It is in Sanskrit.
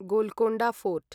गोलकोण्डा फोर्ट्